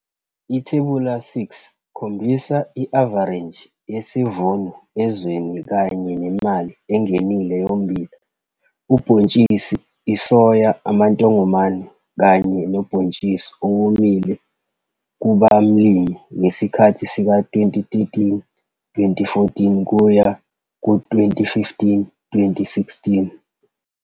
Ithebula 6 khombisa i-avareji yesivuno ezweni kanye nemali engenile yommbila, ubhontshisi isoya, amantongomane kanye nobhontshisi owomile kubamlimi ngesikhathi sika-2013-2014 kuya ku-2015-2016.